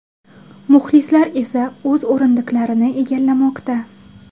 Muxlislar esa o‘z o‘rindiqlarini egallamoqda.